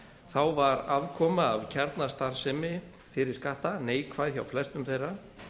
þá var afkoma af kjarnastarfsemi fyrir skatta neikvæð hjá flestum þeirra